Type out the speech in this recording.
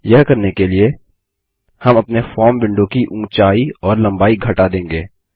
यह करने के लिए हम अपने फॉर्म विंडो की ऊंचाई और लम्बाई घटा देंगे